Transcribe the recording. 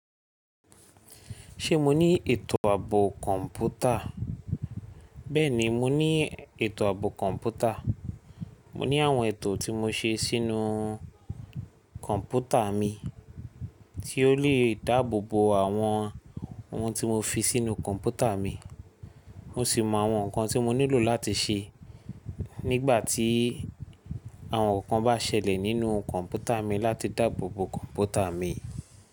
Ṣe mo ni eto aabo kọnputa? Bẹẹni mo ni eto aabo kọnputa. Mo ni awọn eto ti mo ṣe sinu kọnputa mi, ti o le daabobo awọn ohun ti mo fi sinu kọnputa mi. Mo si mọ awọn nkan ti mo nilo lati ṣe nigbati awọn nkan ba ṣẹlẹ ninu kọnputa mi lati dabobo kọnputa mi.